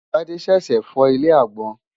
Tádé ṣèèṣì fọ́ ilé agbọ́n.